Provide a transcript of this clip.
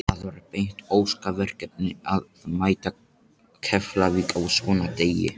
Það var ekki beint óska verkefni að mæta Keflavík á svona degi.